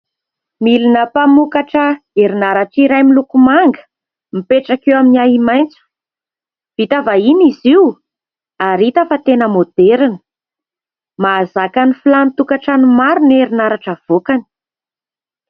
Milina mpamokatra herinaratra iray miloko manga, apetraka eo amin'ny hai-maitso. Vita vahiny izy io ary hita fa tena moderina. Mahazaka ny filan'ny tokantrano maro ny herinaratra avoakany.